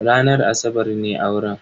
Ranar asabar ne auren.